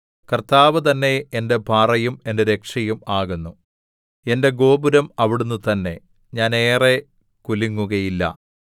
കർത്താവ് തന്നെ എന്റെ പാറയും എന്റെ രക്ഷയും ആകുന്നു എന്റെ ഗോപുരം അവിടുന്ന് തന്നെ ഞാൻ ഏറെ കുലുങ്ങുകയില്ല